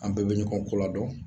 An bɛɛ bɛ ɲɔgɔn koladɔn